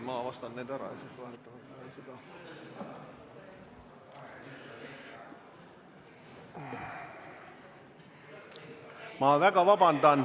Ma palun vabandust!